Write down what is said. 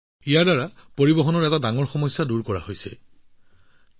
অৰ্থাৎ যাতায়তৰ প্ৰধান সমস্যাটো ইয়াৰ দ্বাৰা আঁতৰি গল